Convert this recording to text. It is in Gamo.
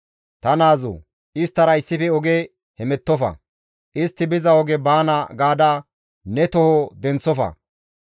Ta naazoo! Isttara issife oge hemettofa; istti biza oge baana gaada ne toho denththofa.